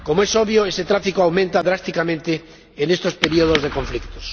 Como es obvio, este tráfico aumenta drásticamente en estos periodos de conflictos.